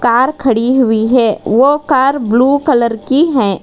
Car खड़ी हुई है वह कार ब्लू कलर की है।